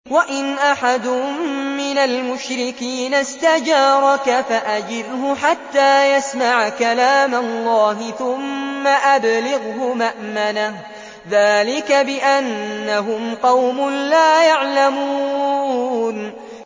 وَإِنْ أَحَدٌ مِّنَ الْمُشْرِكِينَ اسْتَجَارَكَ فَأَجِرْهُ حَتَّىٰ يَسْمَعَ كَلَامَ اللَّهِ ثُمَّ أَبْلِغْهُ مَأْمَنَهُ ۚ ذَٰلِكَ بِأَنَّهُمْ قَوْمٌ لَّا يَعْلَمُونَ